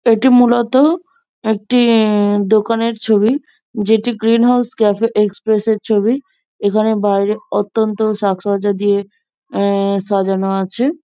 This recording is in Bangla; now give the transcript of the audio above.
এটি মূলত একটি উমম দোকানের ছবি। যেটি গ্রীন হাউস ক্যাফে এক্সপ্রেস এর ছবি। এখানে বাইরে অত্যন্ত সাজ সজ্জা দিয়ে এ এ সাজানো আছে।